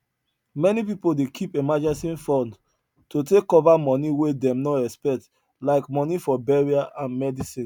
many people dey keep emergency fund to take cover money wey them no expect like money for burial and medicine